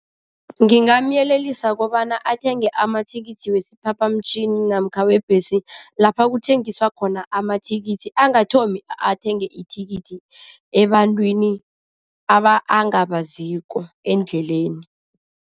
Ngingamyelelisa kobana athenge amathikithi wesiphaphamtjhini namkha webhesi lapha kuthengiswa khona amathikithi, angathomi athenge ithikithi ebantwini angabaziko endleleni.